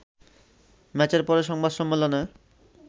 ম্যাচের পরে সংবাদ সম্মেলনে